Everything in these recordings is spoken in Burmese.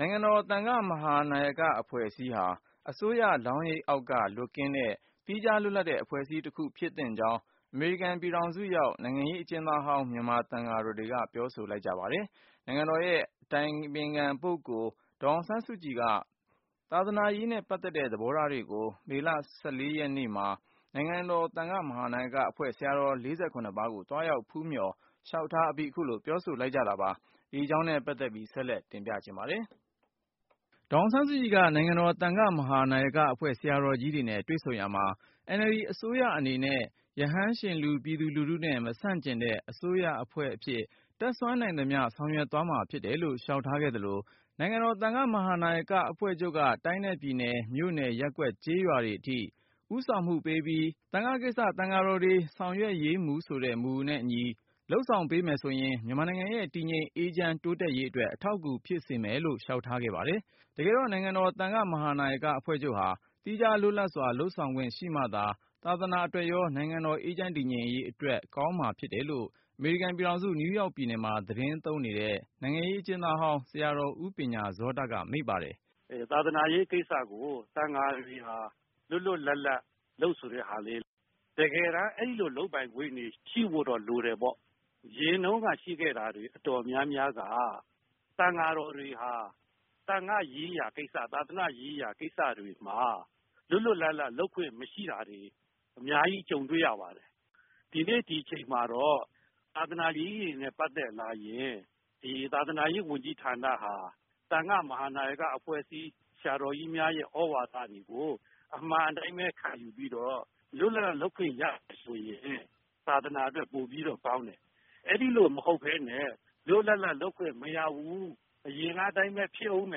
နိုင်ငံတော်သံဃာ့ မဟာနာယကအဖွဲ့အစည်းဟာ အစိုးရလောင်းရိပ်အောက်က လွတ်ကင်းတဲ့ သီးခြားလွတ်လပ်တဲ့အဖွဲ့အစည်းတခုဖြစ်သင့် ကြောင်း အမေရိကန်ပြည်ထောင်စုရောက် နိုင်ငံရေးအကျဉ်းသားဟောင်း မြန်မာသံဃာတော်တွေက ပြောဆိုလိုက်ကြပါတယ်။ နိုင်ငံတော် အတိုင်ပင်ခံ ပုဂ္ဂိုလ် ဒေါ်အောင်ဆန်းစုကြည်က သာသာနာရေးနဲ့ ပတ်သက်တဲ့ သဘောထားတွေ ကို မေလ ရက်နေ့မှာ နိုင်ငံတော်သံဃာ့ မဟာနာယကအဖွဲ့ ဆရာတော် ၄၇ ပါးကို သွားရောက်ဖူးမျှော်လျှောက်ထားအပြီး အခုလို ပြောဆိုလိုက်ကြတာပါ။ အပြည့်အစုံကို ကိုဉာဏ်ဝင်းအောင်က တင်ပြထားပါတယ်။ ဒေါ်အောင်ဆန်းစုကြည်က နိုင်ငံတော်သံဃာ့ မဟာနာယကအဖွဲ့ ဆရာတော်ကြီးတွေနဲ့ တွေ့ဆုံရာမှာ NLD အစိုးရအနေနဲ့ "ရဟန်းရှင်လူ ပြည်သူလူထုနဲ့ မဆန့်ကျင်တဲ့" အစိုးရအဖွဲ့ အဖြစ် တတ်စွမ်းနိုင်သမျှဆောင်ရွက်သွားမှာဖြစ်တယ်လို့ လျှောက်ထားခဲ့သလို နိုင်ငံတော် သံဃာ့မဟာနာယက အဖွဲ့ချုပ်က တိုင်းနဲ့ပြည်နယ် မြို့နယ်၊ ရပ်ကွက်/ကျေးရွာတွေအထိ ဦးဆောင်မှုပေးပြီး “သံဃာ့ကိစ္စ သံဃာ တော်တွေ ဆောင်ရွက်ရေးမူ” ဆိုတဲ့ မူနဲ့အညီ ဆောင်ရွက်မှုပေးမယ်ဆိုရင် မြန်မာနိုင်ငံရဲ့တည်ငြိမ် အေးချမ်း တိုးတက်ရေးအတွက် အထောက်အကူ ဖြစ်စေမယ်လို့လည်း လျှောက်ထားခဲ့ပါတယ်။ တကယ်တော့ နိုင်ငံတော် သံဃာ့မဟာနာယက အဖွဲ့ချုပ်ဟာ သီးခြားလွတ်လပ်စွာ လုပ်ဆောင်ခွင့်ရှိမှသာ သာသနာအတွက်ရော နိုင်ငံတော် အေးချမ်းတည်ငြိမ်ရေးအတွက် ကောင်းမှာဖြစ်တယ်လို့ အမေရိကန်ပြည်ထောင်စု နယူးယောက်ပြည်နယ်မှာ သတင်းသုံးနေတဲ့ နိုင်ငံရေး အကျဥ်းသားဟောင်းဆရာတော် ဦးပညာဇောတက မိန့်ပါတယ်။ “သာသနာရေးကိစ္စကို သံဃာတွေဟာ လွတ်လွတ်လပ်လပ် လုပ်ဆိုတဲ့ဟာလေး တကယ်တမ်း အဲ့ဒီလို လုပ်ပိုင်ခွင့်တွေ ရှိဖို့တော့ လိုတယ်ပေါ့။ အရင်တုန်းက ရှိခဲ့တာတွေ အတော်များများက သံဃာတော်တွေဟာ သံဃာ့ရေးရာကိစ္စ၊ သာသနာ့ရေးရာကိစ္စတွေမှာ လွတ်လွတ်လပ်လပ် လုပ်ခွင့် မရှိတာတွေ အများကြီး ကြုံတွေ့ရပါတယ်။ ဒီနေ့ ဒီအချိန်မှာတော့ သာသနာအရေးတွေနဲ့ ပတ်သက်လာရင် သာသနာရေးဝန်ကြီးဌာနဟာ သံဃာ့မဟာနာယကအဖွဲ့အစည်း ဆရာတော်ကြီးများရဲ့ သြဝါဒတွေကို အမှန်အတိုင်းပဲ ခံယူပြီးတော့ လွတ်လွတ်လပ်လပ် လုပ်ခွင့်ရမယ်ဆိုရင် သာသနာအတွက် ပိုပြီးတော့ ကောင်းတယ်။ အဲဒီလို မဟုတ်ဘဲနဲ့ လွတ်လွတ်လပ်လပ် လုပ်ခွင့်မရဘူး။ အရင်ကအတိုင်းပဲ ဖြစ်ဦးမ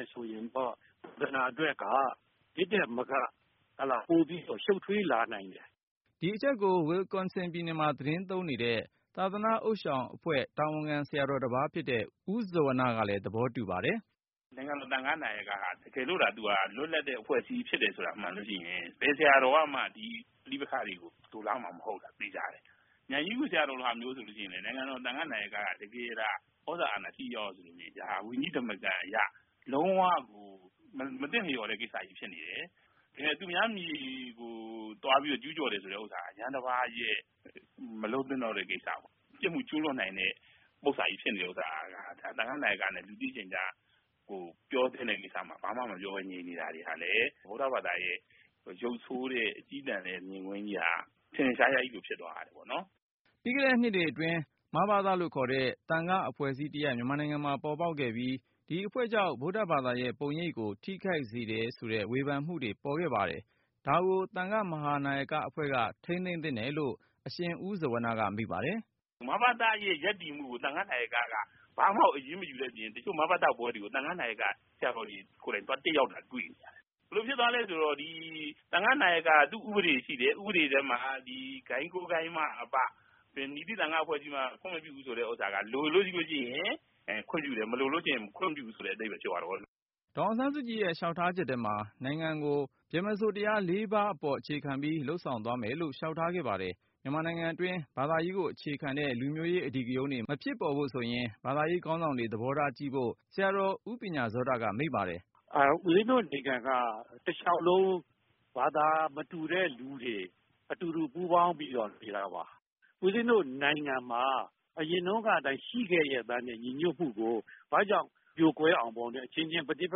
ယ်ဆိုရင်တော့ သာသနာအတွက်က ဒီထက်မက ပိုပြီးတော့ ရှုတ်ထွေးလာနိုင်တယ်။” ဒီအချက်ကို Wisconsin ပြည်နယ်မှာ သတင်းသုံးတဲ့ သာသနာ့ဥသျှောင်အဖွဲ့ တာဝန်ခံဆရာတော်တပါးဖြစ်တဲ့ ဦးဇဝနကလဲ သဘောတူ ပါတယ်။ “နိုင်ငံတော် သံဃာ့နာယကက တကယ်လို့သာ သူဟာ လွတ်လပ်တဲ့ အဖွဲ့အစည်းမှန်လို့ရှိရင် ဘယ်ဆရာတော်ကမှ ပဋိပက္ခတွေကို လိုလားမှာ မဟုတ်တာ သေချာတယ်။ မြိုင်ကြီးငူဆရာတော်လို ဟာမျိုးဆိုရင်လည်း နိုင်ငံတော်သံဃာ့မဟာနာယက က တကယ်သာ သြဇာအာဏာ ထိထိရောက်ရောက် ဆိုလို့ရှိရင် ဒါဟာ ဝိနည်းဓမ္မတာအရ လုံး၀ မသင့်တော်တဲ့ကိစ္စ ဖြစ်နေတယ်။ သူများမြေကို သွားပြီးတော့ ကျူးကျော်တဲ့ဥစ္စာ ရဟန်းတပါးရဲ့ မလုပ်သင့်တော့တဲ့ကိစ္စပါ။ ပြစ်မှုကျူးလွန်နိုင်တဲ့ ပုစ္ဆာကြီးဖြစ်နေတဲ့ဥစ္စာက သံဃာ့နာယကနဲ့ လူသိရှင်ကြား ပြောသင့်တဲ့ကိစ္စမှာ ဘာမှမပြောဘဲ ငြိမ်နေတာတွေကလည်း ဗုဒ္ဓဘာသာရဲ့ ရုပ်ဆိုးတဲ့ အကျည်းတန်တဲ့ မြင်ကွင်းကြီးက ထင်ထင်ရှားရှားကြီးကို ဖြစ်သွားရတယ်ပေါ့နော်။” ပြီးခဲ့တဲ့နှစ်တွေအတွင်း မဘသလို့ခေါ်တဲ့ သံဃာ့အဖွဲ့အစည်းတရပ် မြန်မာနိုင်ငံမှာ ပေါ်ပေါက်ခဲ့ပြီး ဒီအဖွဲ့ကြောင့် ဗုဒ္ဓဘာသာရဲ့ပုံရိပ်ကို ထိခိုက် တယ်ဆိုတဲ့ ဝေဖန်မှုတွေ ထွက်ပေါ်ခဲ့တာပါ။ ဒါကို သံဃာ့ မဟာနာယကအဖွဲ့က ထိန်းသိမ်းသင့်တယ်လို့ အရှင်ဦးဇဝနကမိန့်ပါတယ်။ “မဘသရဲ့ ရပ်တည်မှုကို သံဃာ့နာယကက ဘာမှကို အရေးမယူတဲ့အပြင် တချို့ မဘသပွဲတွေကို သံဃာနာယကဆရာတော်တွေ ကိုယ်တိုင် သွားတက်ရောက်နေတာကို တွေ့ရတယ်။ ဘယ်လိုဖြစ်သွားသလဲဆိုတော့ ဒီ သူ့ဥပဒေရှိတယ်။ သူ့ဥပဒေတွေထဲမှာ ဂိုဏ်း ၉ ဂိုဏ်းမှအပ ဘယ် မည်သည့် သံဃာ့အဖွဲ့အစည်းမှ ခွင့်မပြုဘူးဆိုတဲ့ ဥစ္စာက လိုလို့ရှိလို့ရှိရင် ခွင့်ပြုတယ်၊ မလိုလို့ရှိရင် ခွင့်မပြုဘူးဆိုတဲ့ အဓိပ္ပါယ် ဖြစ်သွားတယ်ပေါ့။” ဒေါ်အောင်ဆန်းစုကြည်ရဲ့လျှောက်ထားချက်ထဲမှာ နိုင်ငံကို ဗြဟ္မစိုရ်တရားလေးပါး ပေါ်အခြေခံပြီး လုပ်ဆောင်သွားမယ်လို့ လျှောက်ထားခဲ့ ပါတယ်။ မြန်မာနိုင်ငံတွင်း ဘာသာရေးကို အခြေခံတဲ့ လူမျိုးရေး အဓိကရုဏ်းတွေ မဖြစ်ပေါ်ဖို့ဆိုရင် ဘာသာရေးခေါင်းဆောင်တွေ သဘောထားကြီးဖို့ ဦးပညာဇောတက မိန့်ပါတယ်။ “ဦးဇင်းတို့နိုင်ငံက တလျှောက်လုံး ဘာသာမတူတဲ့လူတွေ အတူတူ ပူးပေါင်းပြီးတော့ နေတာပါ။ ဦးဇင်းတို့နိုင်ငံမှာ အရင်တုန်းကအတိုင်း ရှိခဲ့လျက်သားနဲ့ ညီညွတ်မှုကို ဘာကြောင့် ပြိုကွဲအောင် အချင်းချင်း ပဋိပ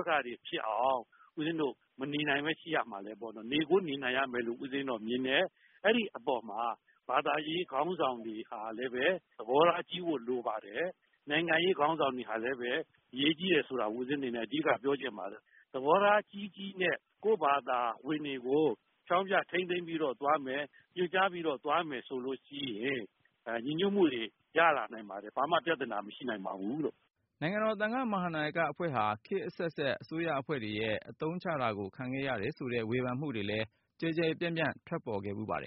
က္ခတွေဖြစ်အောင် ဦးဇင်းတို့ မနေနိုင်ဘဲ ရှိရမှာလဲပေါ့။ နေကို နေနိုင်ရမယ်လို့ ဦးဇင်းတို့က မြင်တယ်။ အဲဒီအပေါ်မှာ ဘာသာရေး ခေါင်းဆောင်တွေဟာလည်းပဲ သဘောထားကြီးဖို့ လိုပါတယ်။ နိုင်ငံရေးခေါင်းဆောင်တွေဟာလည်းပဲ အရေးကြီးတယ်ဆိုတာ ဦးဇင်းအနေနဲ့ အဓိက ပြောချင်ပါတယ်။ သဘောထား ကြီးကြီးနဲ့ ကိုယ့်ဘာသာဝင်တွေကို ဖျောင်းဖျထိန်းသိမ်းပြီးတော့ သွားမယ်။ ညွှန်ကြားပြီးတော့ သွားမယ်ဆိုလို့ရှိရင် ညီညွတ်မှုတွေ ရလာနိုင်ပါတယ်။ ဘာမှ ပြဿနာ မရှိနိုင်ပါဘူးလို့။” နိုင်ငံတော် သံဃာ့မဟာနာယက အဖွဲ့ဟာ ခေတ်အဆက်ဆက် အစိုးရအဖွဲ့တွေရဲ့အသုံးချတာကို ခံခဲ့ရတယ်ဆိုတဲ့ ဝေဖန်မှုတွေလဲ ကျယ်ကျယ်ပြန့်ပြန့် ထွက်ပေါ်ခဲ့ပါတယ်